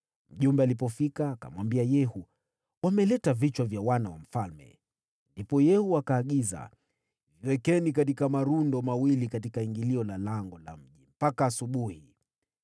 Mjumbe alipofika, akamwambia Yehu, “Wameleta vichwa vya wana wa mfalme.” Ndipo Yehu akaagiza, “Viwekeni malundo mawili katika ingilio la lango la mji mpaka asubuhi.”